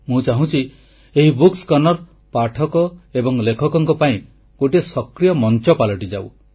ମୁଁ ଚାହୁଁଛି ଏହି କର୍ଣ୍ଣର ପାଠକ ଏବଂ ଲେଖକଙ୍କ ପାଇଁ ଗୋଟିଏ ସକ୍ରିୟ ମଞ୍ଚ ପାଲଟିଯାଉ